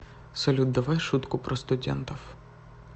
салют давай шутку про студентов